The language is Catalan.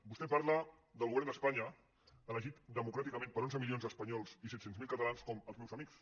vostè parla del govern d’espanya elegit democràticament per onze milions d’espanyols i set cents miler catalans com els meus amics